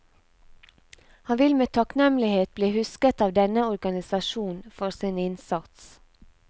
Han vil med takknemlighet bli husket av denne organisasjon for sin innsats.